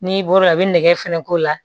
N'i bɔr'o la a bɛ nɛgɛ fɛnɛ k'o la